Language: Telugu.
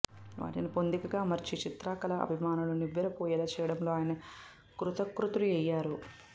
వాటిని పొందికగా అమర్చి చిత్రకళా అభిమానులు నివ్వెరపోయేలా చేయడంలో ఆయన కృతకృత్యులయ్యారు